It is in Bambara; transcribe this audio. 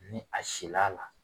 Ni a sila la